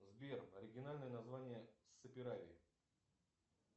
сбер оригинальное название саперави